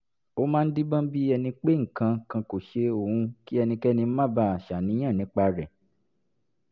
ó máa ń díbọ́n bí ẹni pé nǹkan kan kò ṣe òun kí ẹnikẹ́ni má baà ṣàníyàn nípa rẹ̀